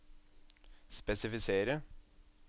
spesifisere